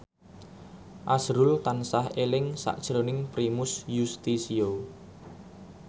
azrul tansah eling sakjroning Primus Yustisio